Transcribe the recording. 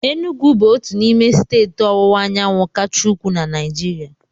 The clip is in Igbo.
Enugwu bụ otu n'ime steeti ọwụwa anyanwụ kacha ukwuu na Naịjirịa.